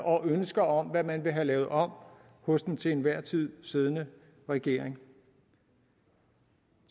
og ønsker om hvad man vil have lavet om hos den til enhver tid siddende regering